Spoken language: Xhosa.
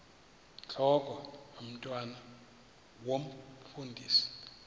intlok omntwan omfundisi